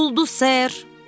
Oldu ser.